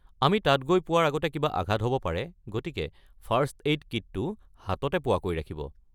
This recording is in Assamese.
আমি তাত গৈ পোৱাৰ আগতে কিবা আঘাত হ'ব পাৰে, গতিকে ফাৰ্ষ্ট-এইড কিটটো হাততে পোৱাকৈ ৰাখিব।